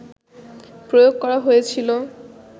প্রয়োগ করা হয়েছিলো